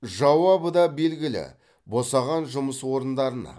жауабы да белгілі босаған жұмыс орындарына